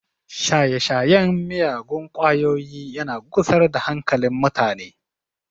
Shaye-shayen miyagun kwayoyi yana gusar da hankalin mutane